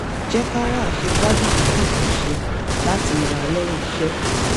jẹ́ ka wá aṣegbádùn tó dùn kan ṣe láti nara lẹ́yìn iṣẹ́